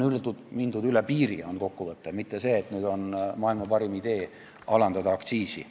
On mindud üle piiri, on kokkuvõte, mitte see, et nüüd on maailma parim idee alandada aktsiisi.